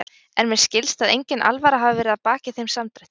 En mér skilst að engin alvara hafi verið að baki þeim samdrætti.